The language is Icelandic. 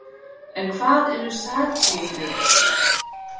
en hvað eru satírur